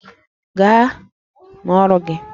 Gaa n'ọrụ gị!